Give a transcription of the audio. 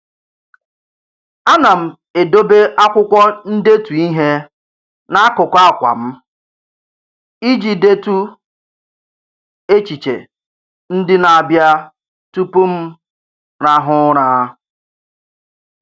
A na m edobe akwụkwọ ndetu ihe n'akụkụ akwa m iji detu echiche ndị na-abịa tụpụ m rahụ ụra.